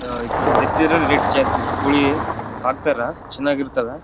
The ಇದರದು rate ಜಾಸ್ತಿ ಕೂಳಿ ಸಾಕತಾರ ಚೆನಾಗ್ ಇರ್ತವ.